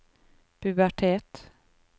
pubertet